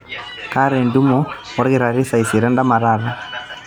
kaata entumoto olkitari saa isiet endama taata